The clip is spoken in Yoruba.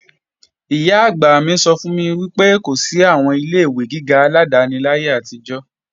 Ìyá-àgbà mi sọ fún mi pé kò sí àwọn ilé-ìwé gíga aládáni láyé àtijọ́